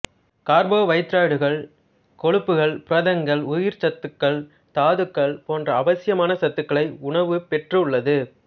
கார்போவைதரேட்டுகள் கொழுப்புகள் புரதங்கள் உயிர்ச்சத்துக்கள் தாதுக்கள் போன்ற அவசியமான சத்துகளை உணவு பெற்றுள்ளது